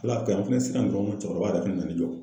Ala kɔri tinɛn sitan dɔgɔni cɔbɔrɔba yɛrɛ fɛnɛ nan'i jɔ